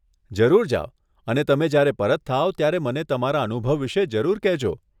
જરૂર જાવ અને તમે જયારે પરત થાવ, ત્યારે મને તમારા અનુભવ વિષે જરૂર કહેજો.